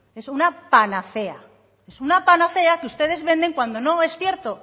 es una panacea es una panacea que ustedes venden cuando no es cierto